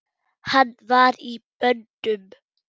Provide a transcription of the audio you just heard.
Hann var í böndum.